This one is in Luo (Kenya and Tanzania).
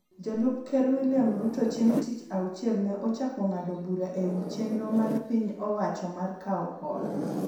Jalup Ker William Ruto chieng� tich auchiel ne ochako ng�ado bura e wi chenro mar piny owacho mar kawo hola,